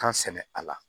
Kan sɛnɛ a la